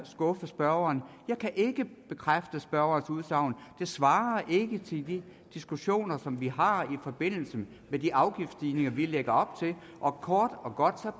skuffe spørgeren jeg kan ikke bekræfte spørgerens udsagn det svarer ikke til de diskussioner som vi har i forbindelse med de afgiftsstigninger vi lægger op til og kort og godt